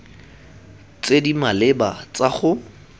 tse di maleba tsa go